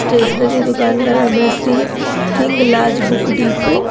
Stationery दुकान का नाम है श्री हिंगलाज बुक डिपो ।